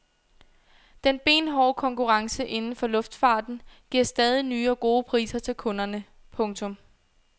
Den benhårde konkurrence inden for luftfarten giver stadig nye og gode priser til kunderne. punktum